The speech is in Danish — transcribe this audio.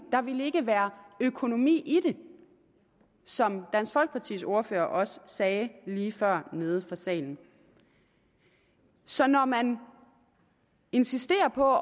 der ville ikke være økonomi i det som dansk folkepartis ordfører også sagde lige før nede fra salen så når man insisterer på